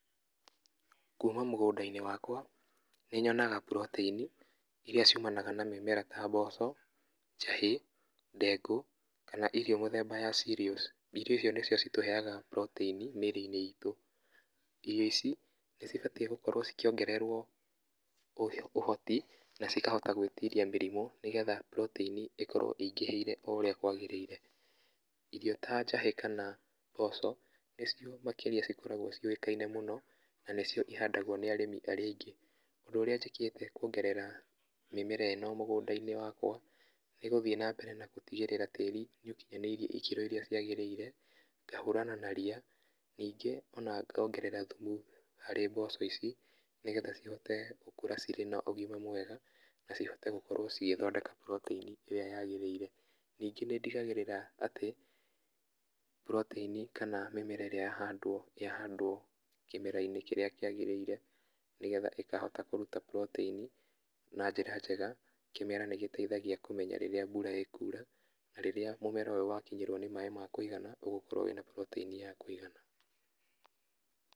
Kuma mũgũnda-inĩ wakwa, nĩ nyonaga buroteini iria ciumanaga na mĩmera ta mboco, njahĩ, ndengũ, kana irio mĩthemba ya cereals, irio icio nĩcio itũheyaga buroteini mĩrĩ-inĩ itũ. Irio ici nĩ cibatiĩ gũkorwo ikĩongererwo ũhoti, na cikahota gwĩtiria mĩrimo nĩgetha buroteini ĩkorwo ingĩhĩire o ũrĩa kwagĩrĩire, irio ta njahĩ, kana mboco, nĩcio makĩria acikoragwo ciũĩkaine mũno, na nĩcio ihandagwo nĩ arĩmi arĩa aingĩ. Ũndũ ũrĩa njĩkĩte kũongerera mĩmera ĩno mũgũnda-inĩ wakwa, nĩ gũthiĩ na mbere na gũtigĩrĩra tĩri nĩ ũkinyanĩirie ikĩro iria ciagĩrĩire, ngahũrana na ria, ningĩ ona ngongerera thumu harĩ mboco ici, nĩgeha cihote gũkũra cirĩ na ũgima mwega, na cihote gũkorwo igĩthondeka puroteini ĩrĩa yagĩrĩire. Ningĩ nĩ ndigagĩrĩra atĩ, buroteini kana mĩmera ĩrĩa yahandwo, yahandwo kĩmera-inĩ kĩrĩa kĩagĩrĩie, nĩgetha ĩkahota kũruta buroteini, na njĩra njega, kĩmera nĩ gĩtgeithagia kũmenya rĩrĩa mbura ĩkura, na rĩrĩa mũmera ũyũ wakinyĩrwo nĩ maĩ makwĩigana ũgũkorwo wĩna buroteini ya kũigana.